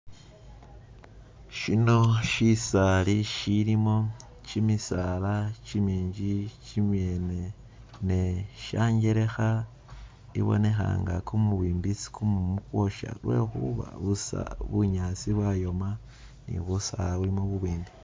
Shino shishali ishilimo chimisaala chiminji chimyene ne shanjelekha ibonekha nga kumubimbi isi kumumu kwosha lwekhuba bunyaasi bwayoma ne busaala bulimo bubwimbi.